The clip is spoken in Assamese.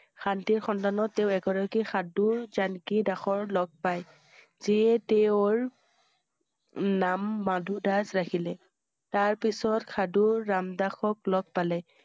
শান্তিৰ সন্ধানত তেওঁ এগৰাকী সাধুৰ জানকী দাসৰ লগ পাই যিয়ে তেওঁ~ৰ নাম মধু দাস ৰাখিলে । তাৰ পিছত সাধু ৰাম দাসক লগ পালে।